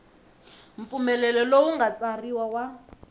mpfumelelo lowu nga tsariwa wa